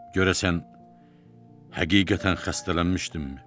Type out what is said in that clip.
Görəsən həqiqətən xəstələnməkdimmi?